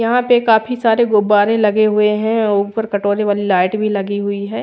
यहाँ पे काफी सारे गुब्बारे लगे हुए है और ऊपर कटोली वाले लाइट लगी हुई है।